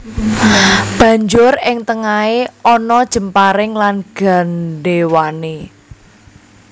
Banjur ing tengahé ana jemparing lan gandhéwané